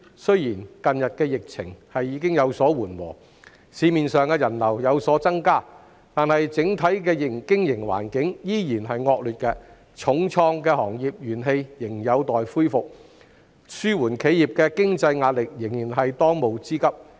雖然近日的疫情已有所緩和，市面上的人流亦有所增加，但整體的經營環境依然惡劣，受重創的行業仍有待恢復元氣，紓緩企業的經濟壓力仍然是當務之急。